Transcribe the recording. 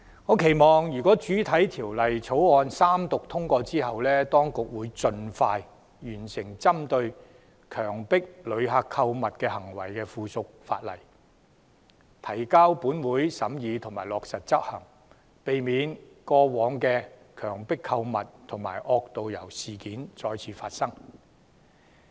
我期望《條例草案》獲三讀通過後，當局會盡快完成針對強迫旅客購物行為的附屬法例，提交本會審議及落實執行，避免過往的強迫購物及惡導遊事件再次發生。